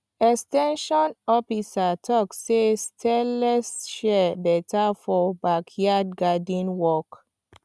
ex ten sion officer talk say stainless shears better for backyard garden work